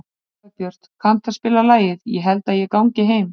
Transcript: Dagbjörg, kanntu að spila lagið „Ég held ég gangi heim“?